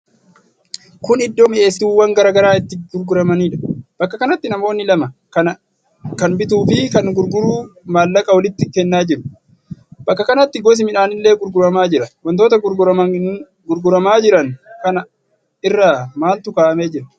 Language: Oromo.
Kun Iddoo mi'eessituuwwan garaa garaa itti gurguramanidha. Bakka kanatti namoonni lama, kan bituu fi kan gurguru mallaqa walitti kennaa jiru. Bakka kanatti gosi midhaanillee gurguramaa jira. Wantoota gurguramaa jiran kana irra maaltu kaa'amee jira?